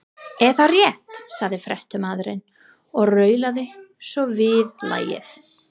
Er það rétt? sagði fréttamaðurinn og raulaði svo viðlagið.